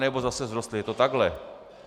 Anebo zase vzrostly, je to takhle.